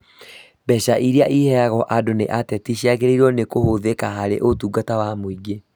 Mbeca irĩa iheagwo andũ nĩ ateti ciagĩrĩirwo nĩ kũhũthĩka harĩ ũtungata wa mũingĩ